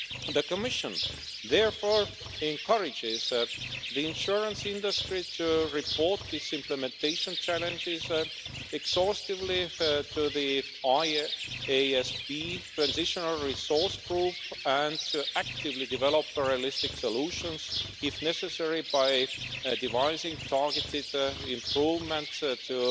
The Commission therefore encourages the insurance industry to report this implementation challenges exhaustively to the IASB transitional resource group, and to actively develop realistic solutions, if necessary by devising targeted improvements to